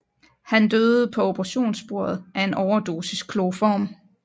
Han døde på operationsbordet af en overdosis kloroform